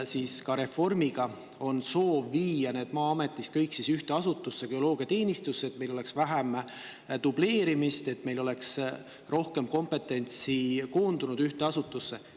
Selle reformiga on soov viia need Maa-ametist kõik ühte asutusse, geoloogiateenistusse, et meil oleks vähem dubleerimist, et meil oleks rohkem kompetentsi koondunud ühte asutusse.